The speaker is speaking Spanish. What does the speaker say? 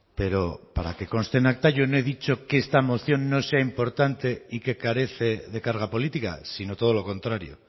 pero para que conste en acta yo no he dicho que esta moción no sea importante y que carece de carga política sino todo lo contrario